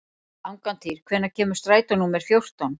Angantýr, hvenær kemur strætó númer fjórtán?